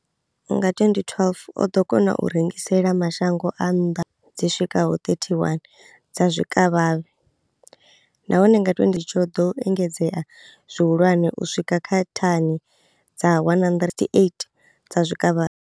Nga 2012, o ḓo kona u rengisela mashango a nnḓa dzi swikaho 31 dza zwikavhavhe, nahone nga tsho ḓo engedzea zwihulwane u swika kha thani dza 108 dza zwikavhavhe.